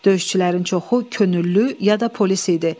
Döyüşçülərin çoxu könüllü ya da polis idi.